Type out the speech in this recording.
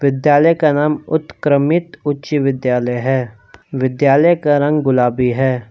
विद्यालय का नाम उत्क्रमित उच्च विद्यालय है विद्यालय का रंग गुलाबी है।